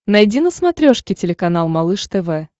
найди на смотрешке телеканал малыш тв